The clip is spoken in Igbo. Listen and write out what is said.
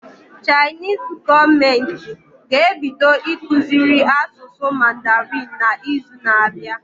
Chinese gọọmenti ga ebido ịkụziri asụsụ mandarin na izu na abịa